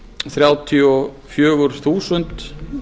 þrjátíu og fjögur þúsund